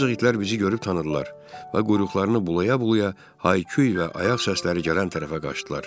Ancaq itlər bizi görüb tanıdılar və quyruqlarını bulaya-bulaya hay-küy və ayaq səsləri gələn tərəfə qaçdılar.